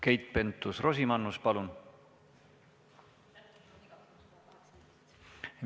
Keit Pentus-Rosimannus, palun!